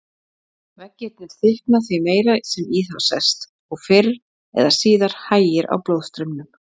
Veggirnir þykkna því meira sem í þá sest, og fyrr eða síðar hægir á blóðstraumnum.